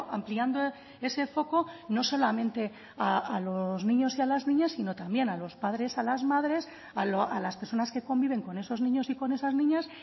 ampliando ese foco no solamente a los niños y a las niñas sino también a los padres a las madres a las personas que conviven con esos niños y con esas niñas